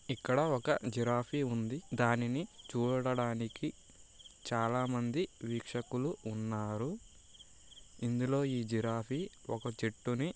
ఇక్కడ ఒక జిరాఫీ ఉంది. దానిని చూడడానికి చాలా మంది వీక్షకులు ఉన్నారు. ఇందులో ఈ జిరాఫీ ఒక చెట్టున --